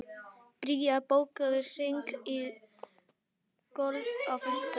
Bría, bókaðu hring í golf á föstudaginn.